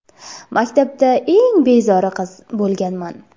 Maktabda eng bezori qiz bo‘lganman.